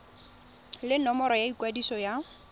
le nomoro ya ikwadiso ya